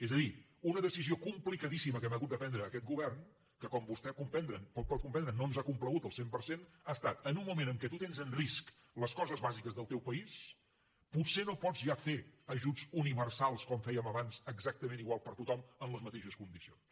és a dir una decisió complicadíssima que hem hagut de prendre aquest govern que com vostè pot comprendre no ens ha complagut al cent per cent ha estat en un moment en què tu tens en risc les coses bàsiques del teu país potser no pots ja fer ajuts universals com fèiem abans exactament iguals per a tothom en les mateixes condicions